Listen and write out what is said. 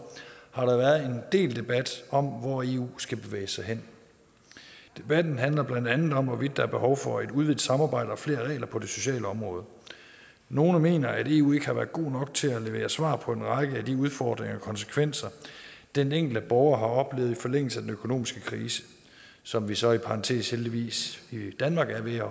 har der været en del debat om hvor eu skal bevæge sig hen debatten handler blandt andet om hvorvidt der er behov for et udvidet samarbejde og flere regler på det sociale område nogle mener at eu ikke har været gode nok til at levere svar på en række af de udfordringer og konsekvenser den enkelte borger har oplevet i forlængelse af den økonomiske krise som vi så i parentes bemærket heldigvis i danmark er ved at